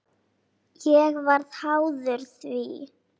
Ég varð háður því.